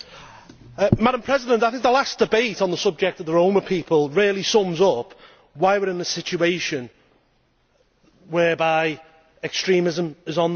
Madam President, I think the last debate on the subject of the Roma people really sums up why we are in the situation whereby extremism is on the march.